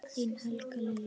Þín Helga Lilja.